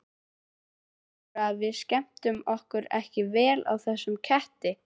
Heldurðu að við skemmtum okkur ekki vel á þessum ketti?